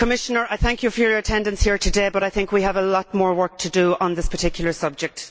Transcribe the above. Commissioner, I thank you for your attendance here today, but I think we have a lot more work to do on this subject.